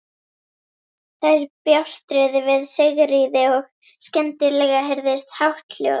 Þær bjástruðu við Sigríði og skyndilega heyrðist hátt hljóð.